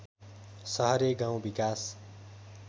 सहरे गाउँ विकास